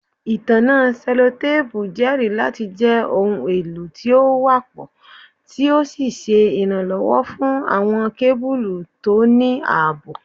Itanna sellotape jẹri lati jẹ ohun elo ti o wapọ ti o ṣe iranlọwọ fun awọn kebulu to ni aabo